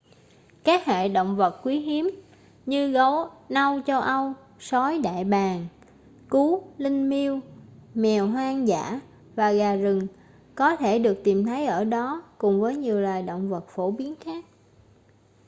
các hệ động vật quý hiếm như gấu nâu châu âu sói đại bàng cú linh miêu mèo hoang dã và gà rừng có thể được tìm thấy ở đó cùng với nhiều loài động vật phổ biến khác